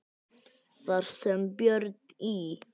Þar sem Björn í